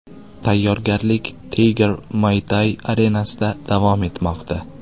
Tayyorgarlik Tiger Muaythai arenasida davom etmoqda.